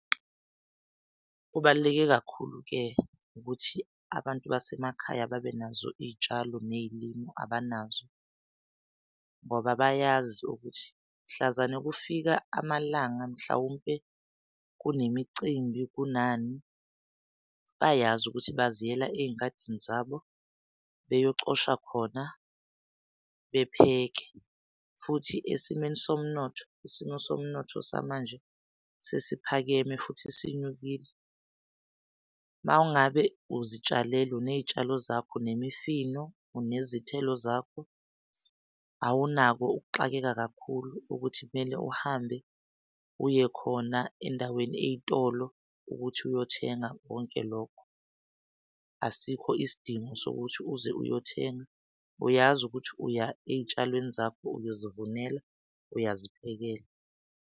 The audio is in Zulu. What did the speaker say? Kubaluleke kakhulu-ke ukuthi abantu basemakhaya babenazo iy'tshalo ney'limu abanazo ngoba bayazi ukuthi mhlazane kufika amalanga, mhlawumpe kunemicimbi kunani bayazi ukuthi baziyela ezingadini zabo beyocosha khona bepheke. Futhi esimeni somnotho, isimo somnotho samanje, sesiphakeme futhi sinyukile maw'ngabe uzitshalele uney'tshalo zakho unemifino unezithelo zakho. Awunako ukuxakeka kakhulu ukuthi kumele uhambe, uyekhona endaweni ey'tolo ukuthi uyothenga konke lokho. Asikho isidingo sokuthi uze uyothenga. Uyazi ukuthi uya ey'tshalweni zakho, uyozivunela, uyaziphekela.